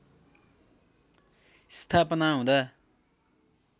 स्थापना हुँदा